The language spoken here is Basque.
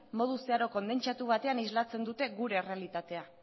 modu zeharo kondentsatu batean islatzen dute gure errealitatea